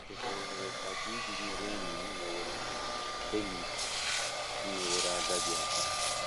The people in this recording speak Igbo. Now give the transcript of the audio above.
Ikekwe ohere ka dị iji nyere enyi m meworo enyi m meworo agadi aka.